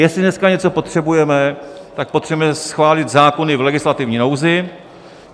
Jestli dneska něco potřebujeme, tak potřebuje schválit zákony v legislativní nouzi.